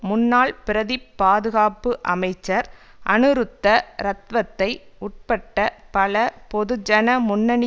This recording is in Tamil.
முன்னாள் பிரதிப் பாதுகாப்பு அமைச்சர் அனுருத்த ரத்வத்தை உட்பட்ட பல பொதுஜன முன்னணி